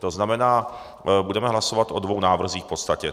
To znamená, budeme hlasovat o dvou návrzích, v podstatě.